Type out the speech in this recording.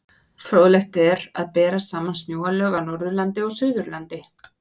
Fróðlegt er að bera saman snjóalög á Norðurlandi og Suðurlandi.